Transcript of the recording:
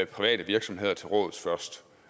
private virksomheder til råds først